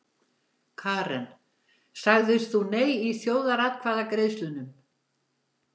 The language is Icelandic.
Karen: Sagðir þú nei í þjóðaratkvæðagreiðslunum?